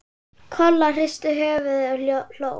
Kolla hristi höfuðið og hló.